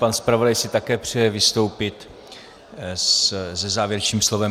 Pan zpravodaj si také přeje vystoupit se závěrečným slovem.